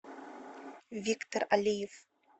виктор алиев